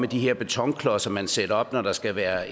de her betonklodser som man sætter op når der skal være